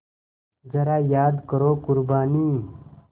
ज़रा याद करो क़ुरबानी